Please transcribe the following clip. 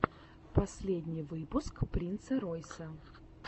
последний выпуск принца ройса